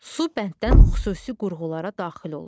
Su bənddən xüsusi qurğulara daxil olur.